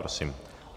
Prosím.